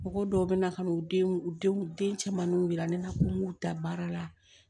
Mɔgɔ dɔw bɛ na ka na u denw u denw den camanw jira ne na ko n k'u da baara la